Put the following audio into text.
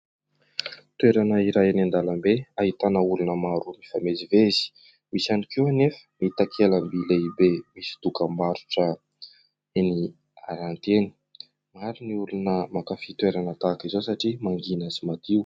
Toerana iray any an-dalambe, ahitana olona maro mifamezivezy, misy ihany koa nefa ny takelaby lehibe misy dokam-barotra eny haranty eny. Maro ny olona mankafy toerana tahaka izao satria mangina sy madio.